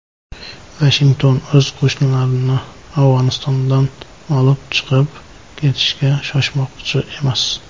Vashington o‘z qo‘shinlarini Afg‘onistondan olib chiqib ketishga shoshmoqchi emas.